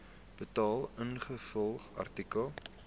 betaal ingevolge artikel